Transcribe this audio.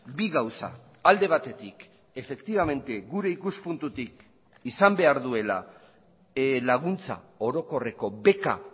bi gauza alde batetik efektibamente gure ikuspuntutik izan behar duela laguntza orokorreko beka